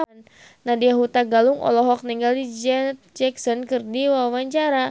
Nadya Hutagalung olohok ningali Janet Jackson keur diwawancara